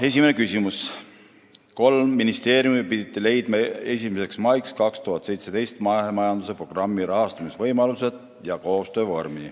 Esimene küsimus: "Kolm ministeeriumi pidid leidma 01. maiks 2017 mahemajanduse programmi rahastamisvõimalused ja koostöövormi.